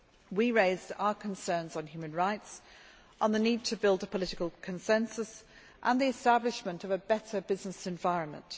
We raised our concerns on human rights, on the need to build a political consensus and the establishment of a better business environment.